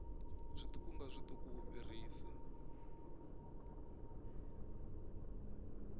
zwiṱuku nga zwiṱuku u fhirisa